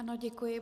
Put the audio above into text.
Ano, děkuji.